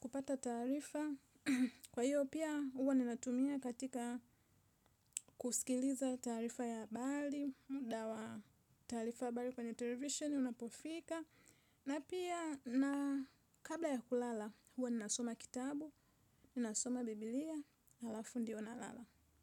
kupata tarifa. Kwa hiyo pia huwa ninatumia katika kusikiliza tarifa ya habari. Muda wa tarifa ya habari kwenye television unapofika na pia na kabla ya kulala huwa ninasoma kitabu. Ninasoma biblia alafu ndio nalala.